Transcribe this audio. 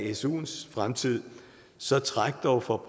er suens fremtid så træk dog for